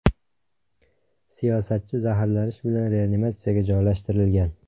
Siyosatchi zaharlanish bilan reanimatsiyaga joylashtirilgan.